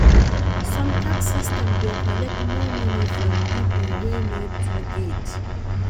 Some tax system dey collect more money from pipo wey no too get